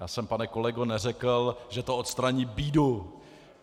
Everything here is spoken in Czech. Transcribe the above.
Já jsem, pane kolego, neřekl, že to odstraní bídu!